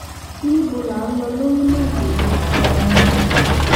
níbo là ń lọ lórílẹ̀‐èdè yìí gan-an